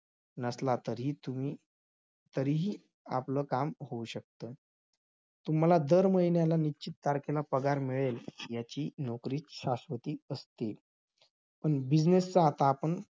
अणुऊर्जेपासून वीज निर्मिती अन्नधान्य उत्पन्न वाढवणे व ते टिकवणे याच्यासाठी प्रगत तंत्रज्ञान उभारणे ज्ञान व technology विकसित करणे अणुऊर्जा आयोगाची उद्दिष्ट होती